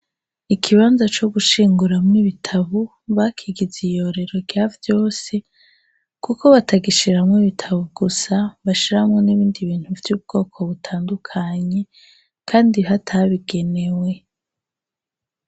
Ikibanza co gushinguramo ibitabo bakigize iyorero rya vyose kuko batagishiramwo ibitabo gusa, bashiramo n'ibindi bintu vy'ubwoko butandukanye, kandi hatabigenewe.